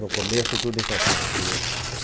No começo tudo em Campinas, ia.